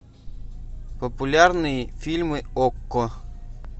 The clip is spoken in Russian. популярные фильмы окко